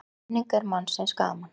Menning er mannsins gaman